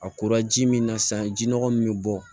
A kora ji min na sisan ji nɔgɔ min bɛ bɔ